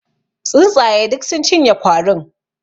Tsuntsaye duk sun cinye kwarin.